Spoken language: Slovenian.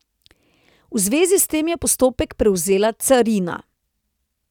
V zvezi s tem je postopek prevzela carina.